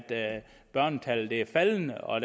børnetallet er faldende og